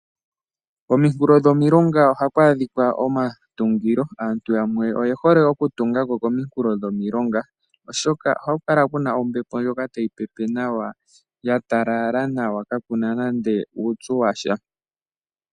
Kominkulo dhomilonga ohaku adhika omatungilo. Aantu yamwe oye hole okutunga ko kominkulo dhomilonga, oshoka ohaku kala kuna ombepo ndjoka tayi pepe nawa, ya talala nawa kakuna nande uupyu washa.